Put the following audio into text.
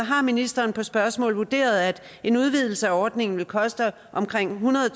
har ministeren på et spørgsmål vurderet at en udvidelse af ordningen vil koste omkring hundrede